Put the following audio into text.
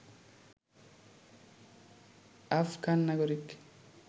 আফগান নাগরিক